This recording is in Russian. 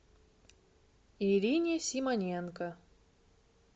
ирине симоненко